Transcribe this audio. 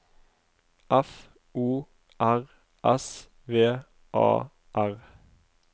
F O R S V A R